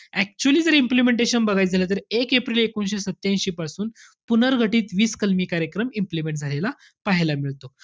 Actually जर implementation बघायचं झालं. तर एक एप्रिल एकोणीशे सत्त्यांशी पासून पुनर्घटित वीस काळजी कार्यक्रम implement झालेला पाहायला मिळतो.